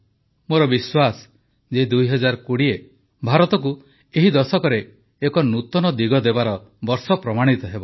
ମୋର ବିଶ୍ୱାସ ଯେ 2020 ଭାରତକୁ ଏହି ଦଶକରେ ଏକ ନୂତନ ଦିଶା ଦେବାର ବର୍ଷ ପ୍ରମାଣିତ ହେବ